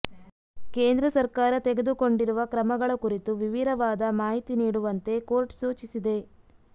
ಕೇಂದ್ರ ಸರ್ಕಾರ ತೆಗೆದುಕೊಂಡಿರುವ ಕ್ರಮಗಳ ಕುರಿತು ವಿವಿರವಾದ ಮಾಹಿತಿ ನೀಡುವಂತೆ ಕೋರ್ಟ್ ಸೂಚಿಸಿದೆ